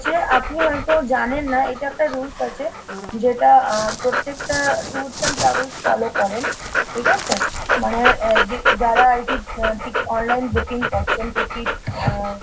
আপনি হয়তো জানেন না এটা একটা rules আছে যেটা আহ প্রত্যেকটা tours and travels follow করেন ঠিক আছে ? মানে এ যারা আর কি online booking করছেন ticket আহ